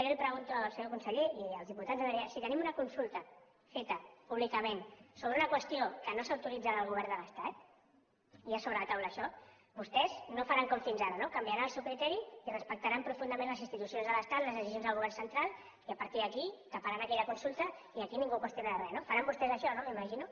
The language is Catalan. i jo li ho pregunto al senyor conseller i als diputats si tenim una consulta feta públicament sobre una qüestió que no s’autoritza del govern de l’estat hi ha sobre la taula això vostès no faran com fins ara no canviaran el seu criteri i respectaran profundament les institucions de l’estat les decisions del govern central i a partir d’aquí taparan aquella consulta i aquí ningú qüestionarà res no faran vostès això no m’imagino